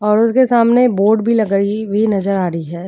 और उसके सामने बोर्ड भी लगाई हुई नजर आ रही है।